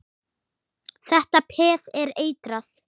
Þetta peð er eitrað.